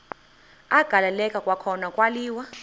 agaleleka kwakhona kwaliwa